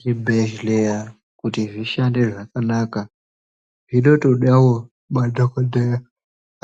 Zvibhedhlera kuti zvishande zvakanaka zvinotodawo madhogodheya